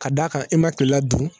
Ka d'a kan e ma kilela dun